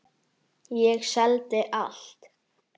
Ég seldi allt.